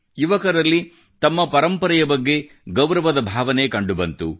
ಯುವಕರಲ್ಲಿ ತಮ್ಮ ಪರಂಪರೆಯ ಬಗ್ಗೆ ಗೌರವದ ಭಾವನೆ ಕಂಡುಬಂದಿತು